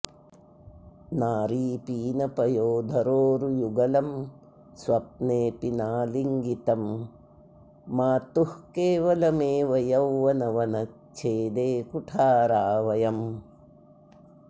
नारी पीनपयोधरोरुयुगलं स्वप्नेऽपि नालिङ्गितं मातुः केवलमेव यौवनवनच्छेदे कुठारा वयम्